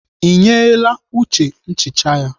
Ị nyeela Uche nchicha ya?